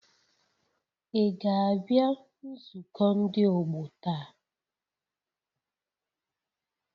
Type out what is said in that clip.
Ị ga-abịa nzukọ ndị ọgbọ taa?